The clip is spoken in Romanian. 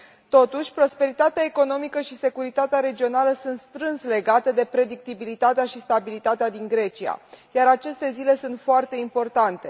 Totuși, prosperitatea economică și securitatea regională sunt strâns legate de predictibilitatea și stabilitatea din Grecia, iar aceste zile sunt foarte importante.